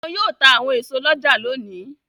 Wọn yóò ta àwọn èso lọ́jà lónìí.